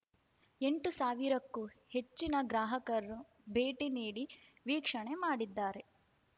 ಎಂಟು ಸಾವಿರಕ್ಕೂ ಹೆಚ್ಚಿನ ಗ್ರಾಹಕರು ಭೇಟಿ ನೀಡಿ ವೀಕ್ಷಣೆ ಮಾಡಿದ್ದಾರೆ